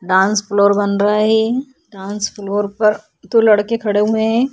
Dance floor बन रहा है। डांस फ्लोर पर दो लड़के खड़े हुए हैं।